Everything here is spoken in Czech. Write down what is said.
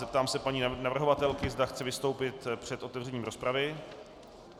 Zeptám se paní navrhovatelky, zda chce vystoupit před otevřením rozpravy.